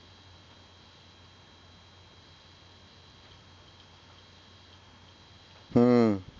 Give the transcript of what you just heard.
হম